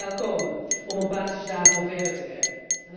En die moet er snel komen om op basis daarvan verder te werken.